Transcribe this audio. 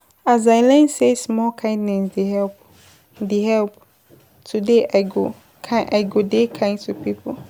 As I learn sey small kindness dey help, dey help, today I go dey kind to pipo.